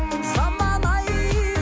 заман ай